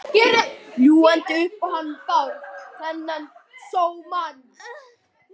Ljúgandi upp á hann Bárð, þennan sómamann.